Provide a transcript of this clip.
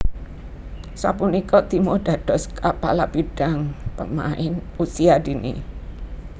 Sapunika Timo dados Kapala Bidang Pemain Usia Dini